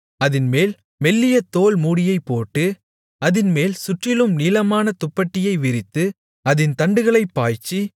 அதின்மேல் மெல்லிய தோல் மூடியைப்போட்டு அதின்மேல் முற்றிலும் நீலமான துப்பட்டியை விரித்து அதின் தண்டுகளைப் பாய்ச்சி